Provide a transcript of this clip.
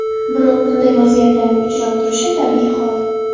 Biroq bunday vaziyatlarning uchrab turishi tabiiy hol.